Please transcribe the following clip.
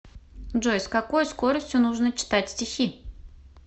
джой с какой скоростью нужно читать стихи